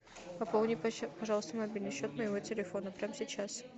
пополни пожалуйста мобильный счет моего телефона прямо сейчас